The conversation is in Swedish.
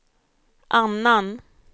annan